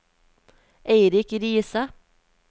Eirik Riise